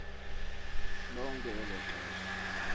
lonke elo xesha